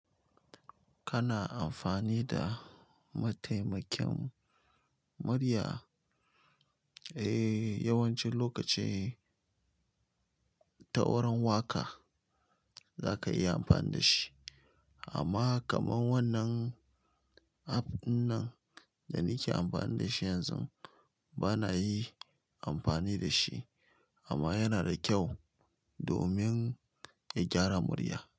Kana amfani da mataimakin murya? Eh, yawanci lokaci ta wurin waƙa zaka iya amfani da shi. Amma kamar wannan app ɗinnan, da nike amfani da shi yanzun. Bana yi amfani da shi amma yana da ƙyau domin ka gyara murya.